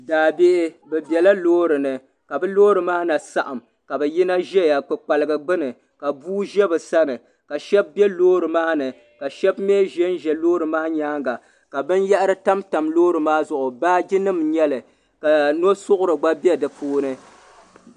Daabihi bɛ biɛla loori ni ka bɛ loori maa na saɣim ka bɛ yina zaya kpaliga gbini bua ʒɛ bɛ sani ka sheba be loori maa ni ka sheba mee ʒɛ loori maa nyaanga ka binyahiri tam tam loori maa zuɣu baaji nima n nyɛli ka nosuɣuri gba be di puuni.